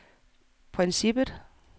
princippet